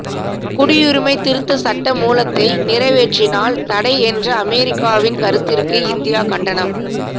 குடியுரிமை திருத்த சட்டமூலத்தை நிறைவேற்றினால் தடை என்ற அமெரிக்காவின் கருத்திற்கு இந்தியா கண்டனம்